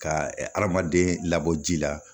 Ka hadamaden labɔ ji la